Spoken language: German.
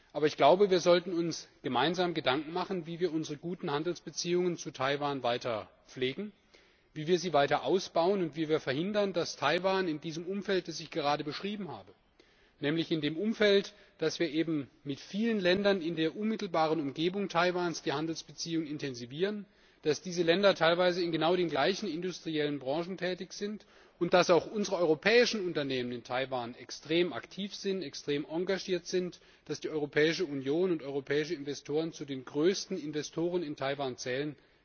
Aber ich glaube, wir sollten uns gemeinsam Gedanken machen, wie wir unsere guten Handelsbeziehungen zu Taiwan weiter pflegen, wie wir sie weiter ausbauen und wie wir verhindern, dass Taiwan in diesem Umfeld, das ich gerade beschrieben habe nämlich in dem Umfeld, dass wir eben mit vielen Ländern in der unmittelbaren Umgebung Taiwans die Handelsbeziehungen intensivieren, dass diese Länder teilweise in genau den gleichen industriellen Branchen tätig sind und dass auch unsere europäischen Unternehmen in Taiwan extrem aktiv, extrem engagiert sind, dass die Europäische Union und europäische Investoren zu den größten Investoren in Taiwan zählen